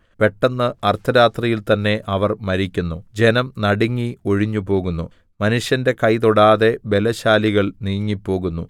പെട്ടെന്ന് അർദ്ധരാത്രിയിൽ തന്നെ അവർ മരിക്കുന്നു ജനം നടുങ്ങി ഒഴിഞ്ഞുപോകുന്നു മനുഷ്യന്റെ കൈ തൊടാതെ ബലശാലികൾ നീങ്ങിപ്പോകുന്നു